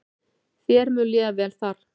Þér mun líða vel þar.